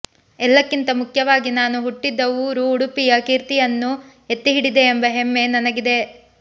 ಎಲ್ಲಕ್ಕಿಂತ ಮುಖ್ಯವಾಗಿ ನಾನು ಹುಟ್ಟಿದ ಊರು ಉಡುಪಿಯ ಕೀರ್ತಿಯನ್ನು ಎತ್ತಿಹಿಡಿದೆ ಎಂಬ ಹೆಮ್ಮೆ ನನಗಿದೆ